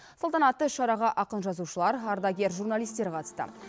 салтанатты іс шараға ақын жазушылар ардагер журналистер қатысты